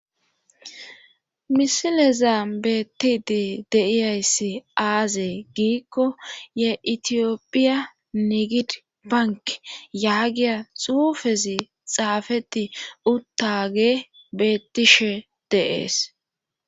misilezan beettidi de'iyayssi aazee giikko ye itiyopphiya nigid bank yaagiya xuufezi xaafeti uttage beettishe de'ees